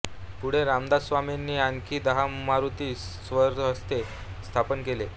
पुढे रामदास स्वामींनी आणखी दहा मारुती स्वहस्ते स्थापन केले